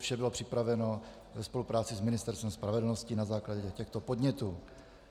Vše bylo připraveno ve spolupráci s Ministerstvem spravedlnosti na základě těchto podnětů.